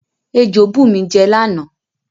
Ejò bù mi jẹ lána